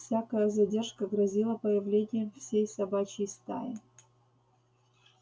всякая задержка грозила появлением всей собачьей стаи